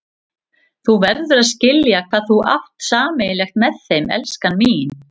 Þú verður að skilja hvað þú átt sameiginlegt með þeim, elskan mín.